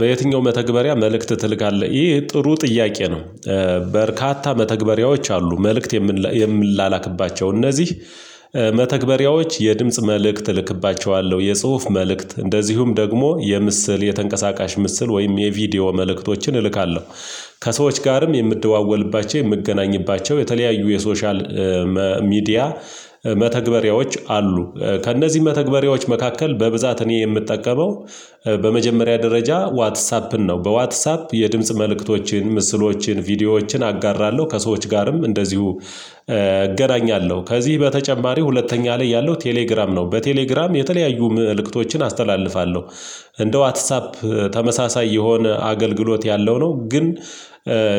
በየትኛው መተግበሪያ መልእክት ትልካለህ ይህ ጥሩ ጥያቄ ነው? በርካታ መተግበሪያዎች አሉ መልእክት የም የምላላክባቸው እነዚህ መተግበሪያዎች የድምጽ መልእክት እልክባቸዋለሁ የጽሁፍ መልእክት እንደዚሁም ደግሞ የምስል የተንቀሳቃሽ ምስል ወይም የቪዲዮ መልእክቶችን እልካለሁ ከሰዎች ጋርም የምደዋወልባቸው የምገናኝባቸው የተለያዩ የሶሻል ሚዲያ መተግበሪያዎች አሉ ከእነዚህ መተግበሪያዎች መካከል በብዛት እኔ የምጠቀመው በመጀመሪያ ደረጃ ዋትሳፕን ነው። በዋትሳፕ የድምጽ መልእክቶችን ምስሎችን ቪዲዮዎችን አጋራለሁ ከሰዎች ጋርም እንደዚሁ እገናኛለሁ ከዚህ በተጨማሪ ሁለተኛ ላይ ያለው ቴሌግራም ነው በቴሌግራም የተለያዩ ምልክቶችን አስተላልፋለሁ እንደ ዋትሳፕ ተመሳሳይ የሆነ አገልግሎት ያለው ነው። ግን